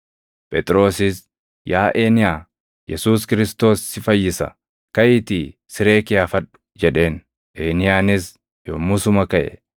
Phexrosis, “Yaa Eeniyaa, Yesuus Kiristoos si fayyisa; kaʼiitii siree kee afadhu” jedheen. Eeniyaanis yommusuma kaʼe.